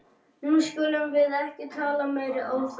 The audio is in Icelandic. Nú skulum við ekki tala meiri óþarfa!